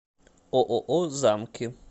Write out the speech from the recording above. ооо замки